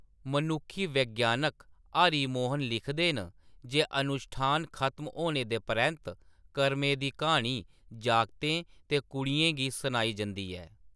मनुक्खी वैज्ञानक हरि मोहन लिखदे न जे अनुश्ठान खत्म होने दे परैंत्त, करमें दी क्हानी जागतें ते कुड़ियें गी सनाई जंदी ऐ।